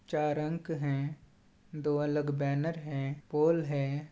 --चार अंक है दो अलग बैनर हैं पोल हैं।